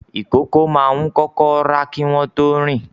ìkókó máa ń kọ́kọ́ rà kí wọ́n tó rìn.